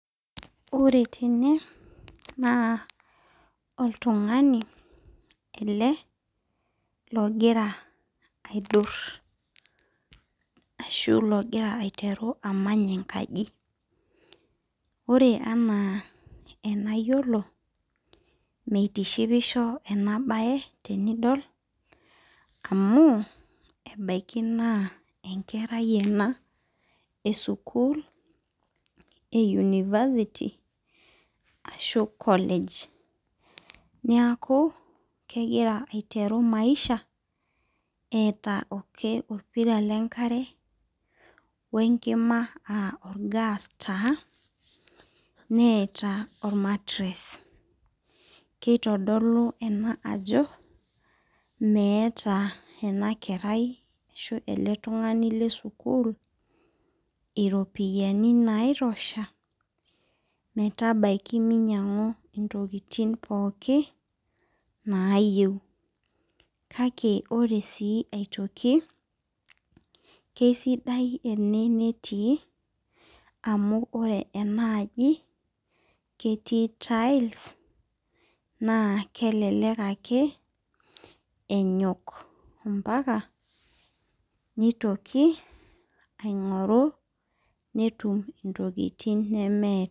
Ore tene na oltungani ele logira aidur ashublogira aiteru amany enkaji ore ena enyiolo mitishipisho enabae tenidol amu ebaki naa enkerai ena esukul e university ashu college neaku kegira aitwru maisha eeta ake orpira lenkare wenkima aa orgas taa nee ormatires kitodolu ena ajo meeta eletungani lesukul iropiyiani naitosha metabaki minyangu ntokitin nayieu kake ore si aitoki kesidai ene netii amu ketii tiles nakelelek akebenyok ambaka nitoki aingoru netum ntokitin nemeeta